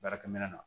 Baarakɛ minɛn na